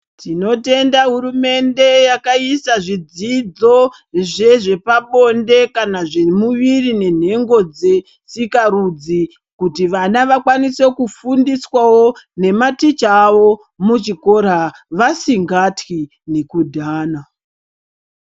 Tinotenda hurumende yakaisa zvidzidzo zvezvepabonde kana zvemuviri nenhengo dzesikarudzi. Kuti vana vakwanise kufundiswavo nematicha avo muchikora vasingatwi nekudhana.